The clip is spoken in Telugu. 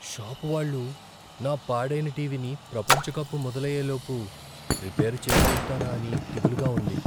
షాప్ వాళ్ళు నా పాడైన టీవీని ప్రపంచ కప్ మొదలయ్యే లోపు రిపేర్ చేయగలుగుతారా అని దిగులుగా ఉంది.